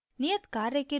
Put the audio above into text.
नियत कार्य के रूप में